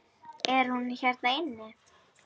Er hún hérna inni?